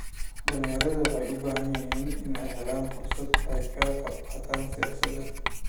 Dhalinyaradu waxay u baahan yihiin inay helaan fursad ay kaga qayb qaataan siyaasadda.